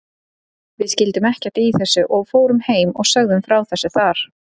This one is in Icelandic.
Við skildum ekkert í þessu og fórum heim og sögðum frá þessu þar.